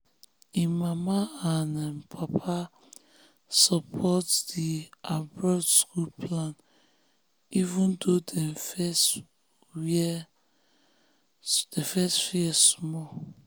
him mama and um papa support di um um abroad school plan even though dem first fear small.